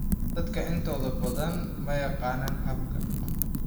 Dadka intooda badan ma yaqaanaan habka.